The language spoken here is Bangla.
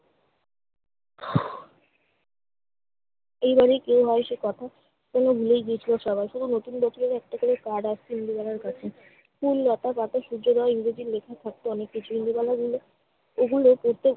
এই বাড়ির কেউ হয় সে কথা যেন ভুলেই গিয়েছিল সবাই। শুধু নতুন বছরের একটা করে card আসতো ইন্দুবালার কাছে। ফুল, লতা, পাতা, সূর্যোদয়, ইংরেজি লেখা থাকতো অনেক কিছু। ইন্দুবালা এগুলো প্রত্যেক